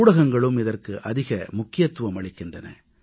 ஊடகங்களும் இதற்கு அதிக முக்கியத்துவம் அளிக்கின்றன